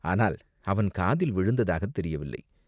ஆனால் அவன் காதில் விழுந்ததாகத் தெரியவில்லை.